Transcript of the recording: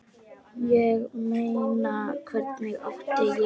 Ég meina, hvernig átti ég.?